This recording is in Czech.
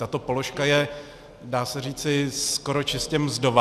Tato položka je, dá se říci, skoro čistě mzdová.